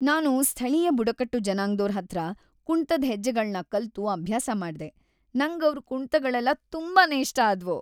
ನಾನು ಸ್ಥಳೀಯ ಬುಡಕಟ್ಟು ಜನಾಂಗ್ದೋರ್‌ ಹತ್ರ ಕುಣ್ತದ್‌ ಹೆಜ್ಜೆಗಳ್ನ ಕಲ್ತು ಅಭ್ಯಾಸ ಮಾಡ್ದೆ, ನಂಗ್‌ ಅವ್ರ್‌ ಕುಣ್ತಗಳೆಲ್ಲ ತುಂಬಾನೇ ಇಷ್ಟ ಆದ್ವು.